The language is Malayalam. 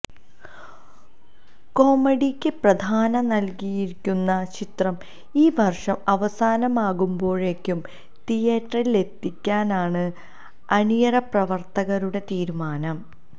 കോമഡിയ്ക്ക് പ്രധാന്യം നല്കിയൊരുക്കുന്ന ചിത്രം ഈ വര്ഷം അവസാനമാകുമ്പോഴേക്കും തിയേറ്ററിലെത്തിക്കാനാണ് അണിയറ പ്രവര്ത്തകരുടെ തീരിമാനം